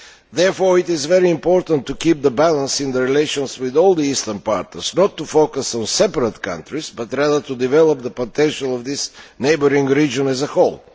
Therefore it is very important to keep the balance in the relations with all the eastern partners, not to focus on separate countries but rather to develop the potential of this neighbouring region as a whole.